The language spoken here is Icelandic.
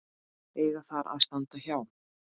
eiga þar að standa hjá.